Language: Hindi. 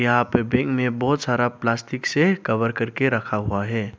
यहां पे बैग में बहुत सारा प्लास्टिक से कवर करके रखा हुआ है।